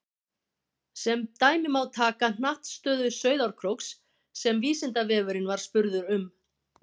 Sem dæmi má taka hnattstöðu Sauðárkróks sem Vísindavefurinn var spurður um.